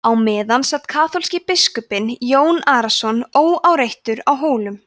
á meðan sat kaþólski biskupinn jón arason óáreittur á hólum